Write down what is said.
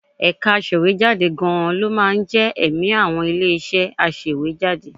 Ẹ̀ka aṣèwéjádé gan-an ló máa ń jẹ́ ẹ̀mí àwọn ilé-iṣẹ́ aṣèwéjádé